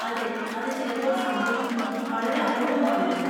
അതെ, അത് ചിലപ്പോൾ സംഭവിക്കുന്നു, വളരെ അപൂർവമാണെങ്കിലും.